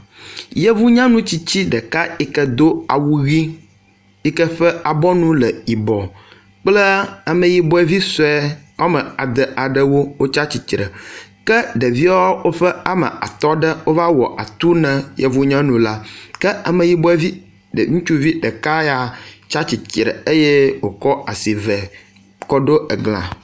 Yevu nyanu tsitsi ɖeka yi ke do awu ʋi yi ke ƒe abɔnu le yibɔ kple ameyibɔ vi sue wɔme ade aɖewo wotsi atsitre ke ɖevia woƒe ame atɔ ɖe wova wɔ atu na yevu nyanu la ke ameyibɔvi ɖe ŋutsuvi ɖeka ya tsi stsitre eye wokɔ asi ve kɔ ɖo egla.